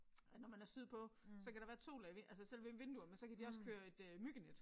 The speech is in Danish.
At når man er sydpå så kan der være to lag altså selve vinduerne men så kan de også køre et øh myggenet